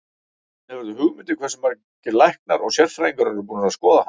Hefurðu hugmynd um hversu margir læknar og sérfræðingar eru búnir að skoða hana?